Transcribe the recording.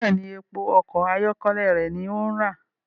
Bẹẹni, èpo ọkọ ayọkẹlẹ rẹ ní o ń ra